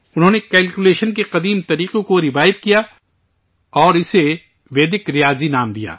انہوں نے کیلکولیشن کے پرانے طریقوں کو ریوائیو کیا اور اسے ویدک ریاضی نام دیا